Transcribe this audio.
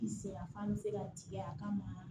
I se f'an bɛ se ka tigɛ a kama